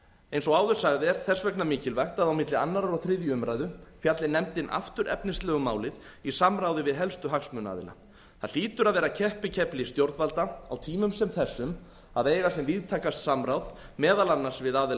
eins og áður sagði er þess vegna mikilvægt að á milli annars og þriðju umræðu fjalli nefndin aftur efnislega um málið í samráði við helstu hagsmunaaðila það hlýtur að vera keppikefli stjórnvalda á tímum sem þessum að eiga sem víðtækast samráð meðal annars við aðila